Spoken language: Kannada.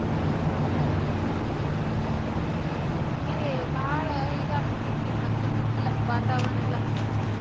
ಹಾ ಅದು ಕರೇನಾ ಬಾಳ ಇದಾಗಿಬಿಟ್ಟೆತ್ರಿ ಮದ್ಲಿನಂಗಿಲ್ಲಾ ವಾತಾವರನೆಲ್ಲಾ.